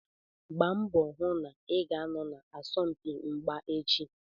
Gbaa mbọ hụ na ị ga-anọ na asọmpi mgba echi.